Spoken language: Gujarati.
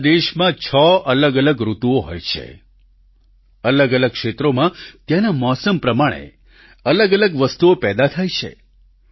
આપણા દેશમાં છ અલગઅલગ ઋતુઓ હોય છે અલગઅલગ ક્ષેત્રોમાં ત્યાંના મોસમ પ્રમાણે અલગઅલગ વસ્તુઓ પેદા થાય છે